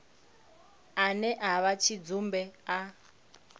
ane a vha tshidzumbe a